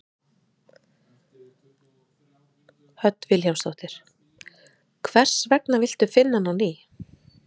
Hödd Vilhjálmsdóttir: Hvers gegna villtu finna hann á ný?